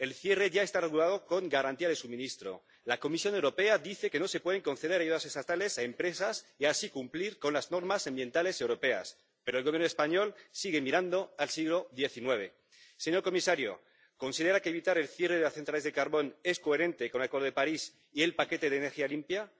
El cierre ya está regulado con garantía de suministro. La Comisión Europea dice que no se pueden conceder ayudas estatales a empresas y así cumplir las normas ambientales europeas, pero el Gobierno español sigue mirando al siglo XIX. Señor comisario, ¿considera que evitar el cierre de centrales de carbón es coherente con el Acuerdo de París y el paquete de energía limpia?